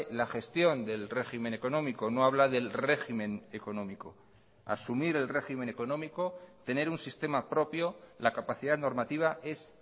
la gestión del régimen económico no habla del régimen económico asumir el régimen económico tener un sistema propio la capacidad normativa es